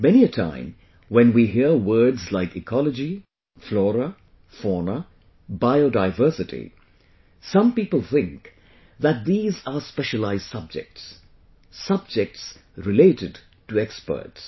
Many a time, when we hear words like Ecology, Flora, Fauna, Bio Diversity, some people think that these are specialized subjects; subjects related to experts